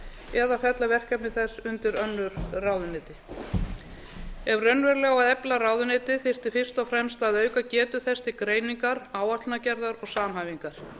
eða fella verkefni þess undir önnur ráðuneyti ef raunverulega á að efla ráðuneytið þyrfti fyrst og fremst að auka getu þess til greiningar áætlanagerðar og samhæfingar